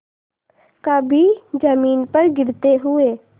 कभी जमीन पर गिरते हुए